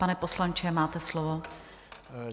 Pane poslanče, máte slovo.